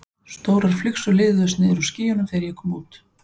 Stórar flygsur liðuðust niður úr skýjunum þegar ég kom út.